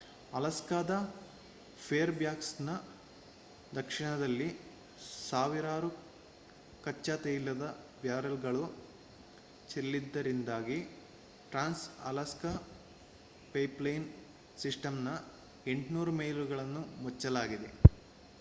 ಅಲಾಸ್ಕಾದ ಫೇರ್‌ಬ್ಯಾಂಕ್ಸ್‌ನ ದಕ್ಷಿಣದಲ್ಲಿ ಸಾವಿರಾರು ಕಚ್ಚಾ ತೈಲದ ಬ್ಯಾರೆಲ್‌ಗಳು ಚೆಲ್ಲಿದ್ದರಿಂದಾಗಿ ಟ್ರಾನ್ಸ್‌ ಅಲಾಸ್ಕಾ ಪೈಪ್‌ಲೈನ್‌ ಸಿಸ್ಟಂನ 800 ಮೈಲುಗಳನ್ನು ಮುಚ್ಚಲಾಗಿದೆ